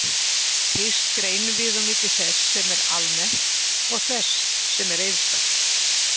Fyrst greinum við á milli þess sem er almennt og þess sem er einstakt.